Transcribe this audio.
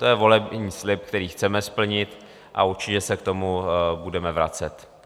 To je volební slib, který chceme splnit, a určitě se k tomu budeme vracet.